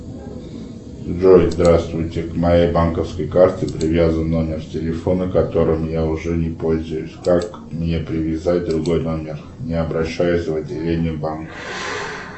джой здравствуйте к моей банковской карте привязан номер телефона которым я уже не пользуюсь как мне привязать другой номер не обращаясь в отделение банка